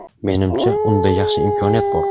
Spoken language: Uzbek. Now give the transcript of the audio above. Menimcha, unda yaxshi imkoniyat bor.